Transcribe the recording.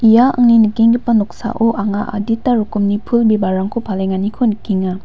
ia angni nikenggipa noksao anga adita rokomni pul bibalrangko palenganiko nikenga.